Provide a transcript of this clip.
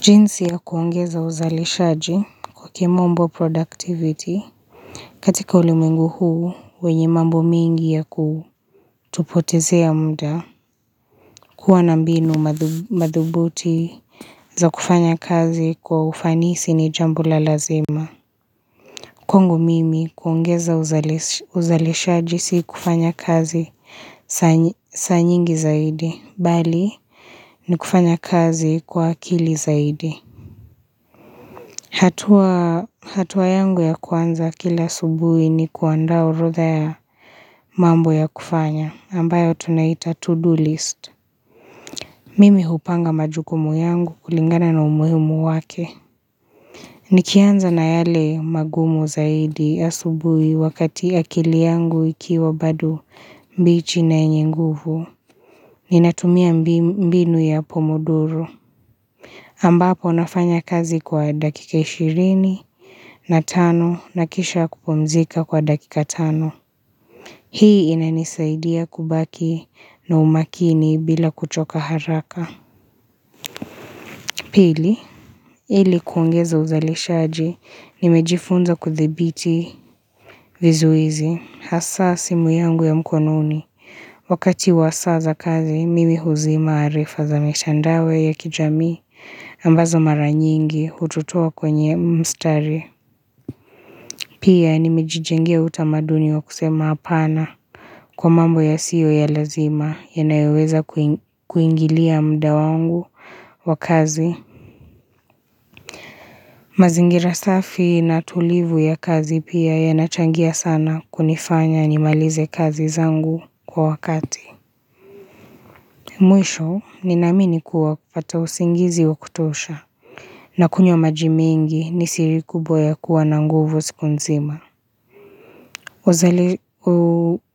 Jinsi ya kuongeza uzaleshaji kwa kimombo productivity katika ulimengu huu wenye mambo mingi ya kutupotezea muda kuwa na mbinu madhubuti za kufanya kazi kwa ufanisi ni jambo la lazima Kwangu mimi kuongeza uzaleshaji si kufanya kazi saa nyingi zaidi bali ni kufanya kazi kwa akili zaidi hatua yangu ya kwanza kila asubuhi ni kuanda orodha ya mambo ya kufanya ambayo tunaita to-do list Mimi hupanga majukumu yangu kulingana na umuhumu wake Nikianza na yale magumu zaidi ya subuhi wakati akili yangu ikiwa badu mbichi na enye nguvu Ninatumia mbinu ya pomodoro ambapo nafanya kazi kwa dakika ishirini na tano na kisha kupomzika kwa dakika tano. Hii inanisaidia kubaki na umakini bila kuchoka haraka. Pili, ilikuungeza uzalishaji, nimejifunza kuthibiti vizuizi, hasa simu yangu ya mkononi. Wakati wasaza kazi, mimi huzima arifaza mechandawe ya kijami ambazo mara nyingi utotoa kwenye mstari. Pia, nimejijenge utamaduni wa kusema apana kwa mambo ya siyo ya lazima, ya naeweza kuingilia muda wangu wa kazi. Mazingira safi na tulivu ya kazi pia ya nachangia sana kunifanya ni malize kazi zangu kwa wakati Mwisho ni ninaamini kuwa pata usingizi wa kutosha na kunywa maji mingi ni siri kubo ya kuwa na nguvu siku nzima